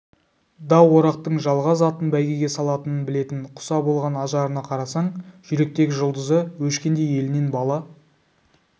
да орақтың жалғыз атын бәйгеге салатынын білетін құса болған ажарына қарасаң жүректегі жұлдызы өшкендей елінен бала